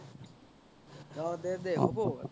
অ দে দে হ'ব